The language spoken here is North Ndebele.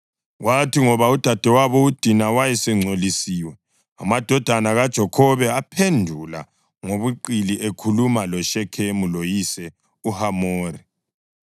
Kwathi ngoba udadewabo uDina wayesengcolisiwe, amadodana kaJakhobe aphendula ngobuqili ekhuluma loShekhemu loyise uHamori.